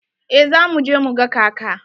Eh za mu je mu ga kaka.